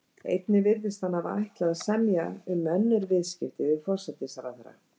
Einnig virðist hann hafa ætlað að semja um önnur viðskipti við forsætisráðherra.